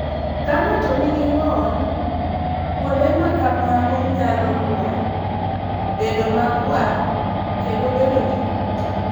Ka ng'ato nigi ng'ol, kuonde ma kamago nyalo lwar, bedo makwar, kendo bedo gi kute.